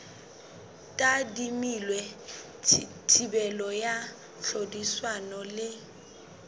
tadimilwe thibelo ya tlhodisano le